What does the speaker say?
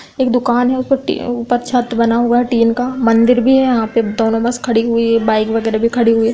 एक दुकान है उस पर ऊपर छत बना हुआ टिन का मंदिर भी है यहाँ पे दोनों बस खड़ी हुई है। बाइक वगैरह खड़ी हुई है।